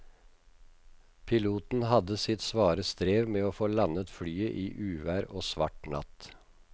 Piloten hadde sitt svare strev med å få landet flyet i uvær og svart natt.